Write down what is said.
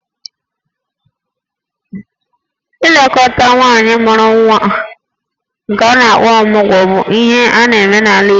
Ilekọta nwaanyị mụrụ nwa nke a na-akpọ 'Ọmụgwọ' bụ ihe a na-eme n'ala Igbo